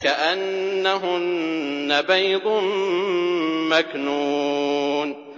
كَأَنَّهُنَّ بَيْضٌ مَّكْنُونٌ